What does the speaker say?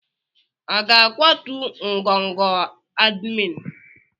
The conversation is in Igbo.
A ga-akwatu ngọngọ admin.